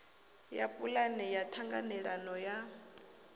ya pulane ya ṱhanganelano ya